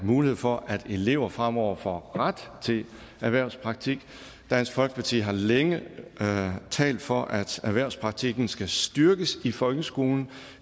mulighed for at elever fremover får ret til erhvervspraktik dansk folkeparti har længe talt for at erhvervspraktikken skal styrkes i folkeskolen